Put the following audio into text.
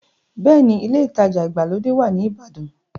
Bẹ́ẹ̀ni, ilé ìtajà ìgbàlódé wà ní ìbàdàn.